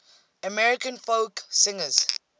american folk singers